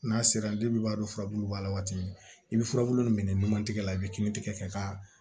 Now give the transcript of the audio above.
N'a sera i b'a dɔn furabulu b'a la waati min i bɛ furabulu min kɛ numantigɛ la i bɛ kini tigɛ k'a